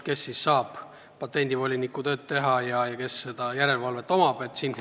Kes ikkagi saab patendivoliniku tööd teha ja kes seda järelevalvet teeb?